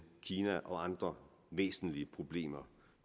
kina og andre væsentlige problemer